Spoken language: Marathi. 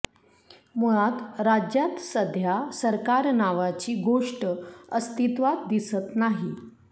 मुळात राज्यात सध्या सरकार नावाची गोष्ट अस्तित्वात दिसत नाही